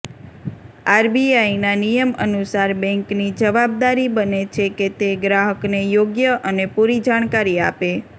આરબીઆઇના નિયમ અનુસાર બેંકની જવાબદારી બને છે કે તે ગ્રાહકને યોગ્ય અને પૂરી જાણકારી આપે